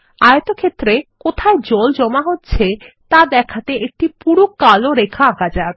আয়তক্ষেত্রে কোথায় জল জমা হচ্ছে তা দেখাতে একটি পুরু কালো রেখা আঁকা যাক